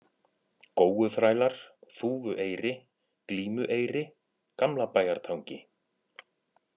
Góuþrælar, Þúfueyri, Glímueyri, Gamlabæjartangi